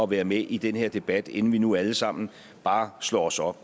være med i den her debat inden vi nu alle sammen bare slår os op